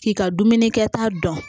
K'i ka dumuni kɛta dɔn